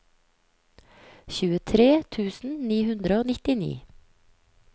tjuetre tusen ni hundre og nittini